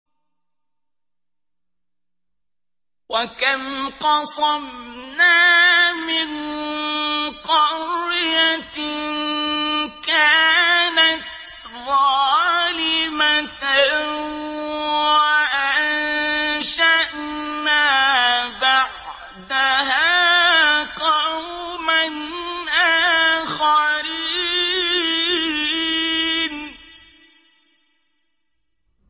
وَكَمْ قَصَمْنَا مِن قَرْيَةٍ كَانَتْ ظَالِمَةً وَأَنشَأْنَا بَعْدَهَا قَوْمًا آخَرِينَ